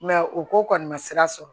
u ko kɔni ma sira sɔrɔ